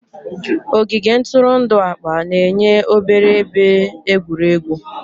Ogige ntụrụndụ akpa na-enye obere ebe egwuregwu.